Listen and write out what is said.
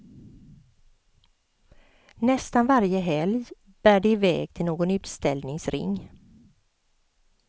Nästan varje helg bär det iväg till någon utställningsring.